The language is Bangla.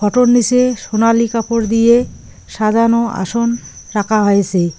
ফোটোর নিজে সোনালি কাপড় দিয়ে সাজানো আসন রাখা হয়েছে।